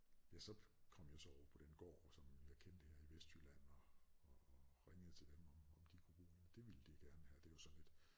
Ja så kom jeg jo så over på den gård som jeg kendte her i Vestjylland og og og ringede til dem om om de kunne bruge en og det ville de gerne have det var sådan et